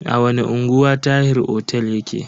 A wani unguwa Tahir otel yake?